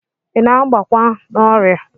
I na-agbakwa n'ọrịa?